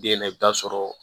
Den na i bɛ taa sɔrɔ